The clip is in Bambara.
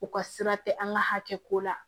U ka sira tɛ an ka hakɛ ko la